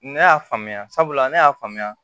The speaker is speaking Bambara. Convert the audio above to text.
Ne y'a faamuya sabula ne y'a faamuya